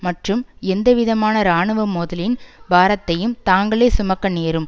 மற்றும் எந்த விதமான இராணுவ மோதலின் பாரத்தையும் தாங்களே சுமக்க நேரும்